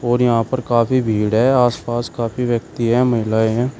और यहां पर काफी भीड़ है आसपास काफी व्यक्ति हैं महिलाएं हैं।